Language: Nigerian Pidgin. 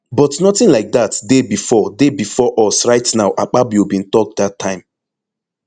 but nothing like dat dey bifor dey bifor us right now akpabio bin tok dat time